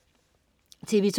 TV2: